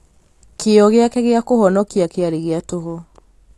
Kĩyo gĩake gĩa kũhonokia kĩarĩ gĩa tũhũ